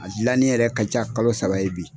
A dilannen yɛrɛ ka ca kalo saba ye bi.